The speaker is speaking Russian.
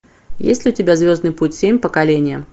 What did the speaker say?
есть ли у тебя звездный путь семь поколение